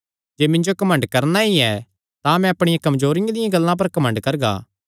जे मिन्जो घमंड करणा ई ऐ तां मैं अपणिया कमजोरियां दियां गल्लां पर घमंड करगा